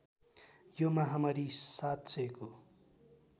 यो महामारी ७००को